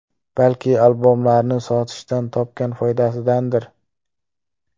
Balki albomlarini sotishdan topgan foydasidandir?